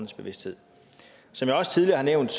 bevidsthed som jeg også tidligere har nævnt